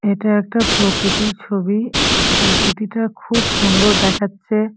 এইটা একটা প্রকৃতির ছবি। প্রকৃতিটা খুব সুন্দর দেখাচ্ছে।